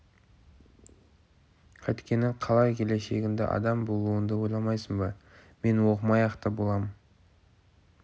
қайткені қалай келешегіңді адам болуыңды ойламайсың ба мен оқымай-ақ та болам